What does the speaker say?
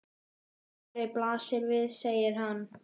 Svarið blasir við, segir hann.